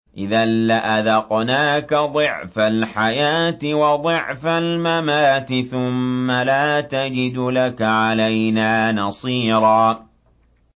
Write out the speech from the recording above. إِذًا لَّأَذَقْنَاكَ ضِعْفَ الْحَيَاةِ وَضِعْفَ الْمَمَاتِ ثُمَّ لَا تَجِدُ لَكَ عَلَيْنَا نَصِيرًا